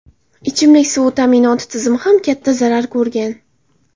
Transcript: Ichimlik suvi ta’minoti tizimi ham katta zarar ko‘rgan.